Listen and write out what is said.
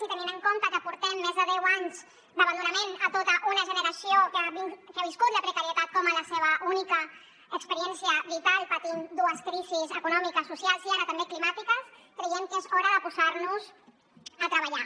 i tenint en compte que portem més de deu anys d’abandonament a tota una generació que ha viscut la precarietat com la seva única experiència vital patint dues crisis econòmiques socials i ara també climàtiques creiem que és hora de posar nos a treballar